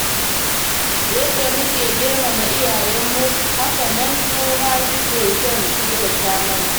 Yadda muke girmama iyayenmu, haka nan su ma suke son kyautata mana.